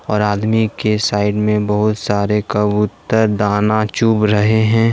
और आदमी के साइड में बहुत सारे कबूतर दाना चुभ रहे हैं।